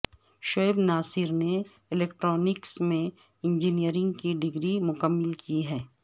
شعیب ناصر نے الیکٹرونکس میں انجینیئرنگ کی ڈگری مکمل کی ہے